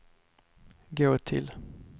gå till